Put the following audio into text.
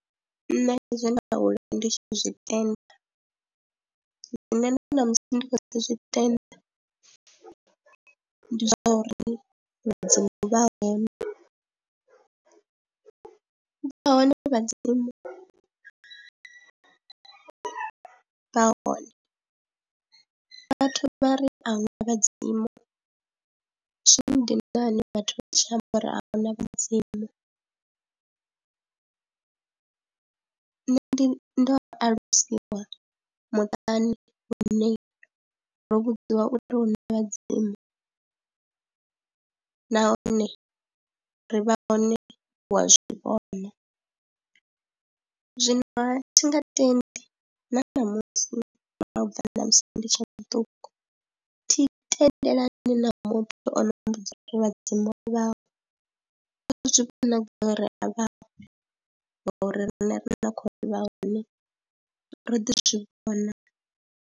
Nṋe zwe nda aluwa ndi tshi zwi tenda zwine na ṋamusi ndi khou ḓi zwi tenda ndi zwa uri vhadzimu vha vha hone, vhadzimu vha hone vhathu vha ri a hu na vhadzimu zwi ndina hani musi vhathu vha tshi amba uri a hu na vhadzimu, nṋe ndi ndo a alusiwa muṱani hune ro vhudziwa uri hu na vhadzimu nahone ri vha hone wa zwi vhona, zwino ha thi nga tendi na ṋamusi u bva ṋamusi ndi tshe muṱuku thi tendelani na muthu o no mmbudza ri vhadzimu a vhaho, o zwi vhona gai ri a vhaho ngauri riṋe ri ni khou ḓivha hone ro ḓi zwi vhona.